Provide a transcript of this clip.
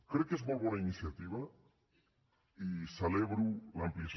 crec que és molt bona iniciativa i celebro l’ampliació